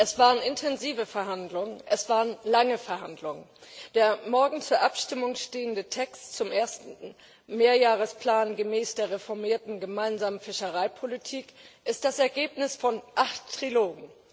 Es waren intensive, lange Verhandlungen. Der morgen zur Abstimmung stehende Text zum ersten Mehrjahresplan gemäß der reformierten gemeinsamen Fischereipolitik ist das Ergebnis von acht Trilogen.